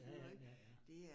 Ja ja ja ja